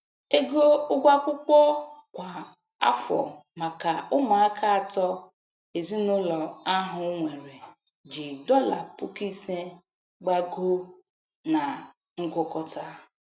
Ego ụgwọ akwụkwọ kwa afọ maka ụmụaka atọ ezinaụlọ ahụ nwere ji dọla puku ise, gbagoo na ngụkọta.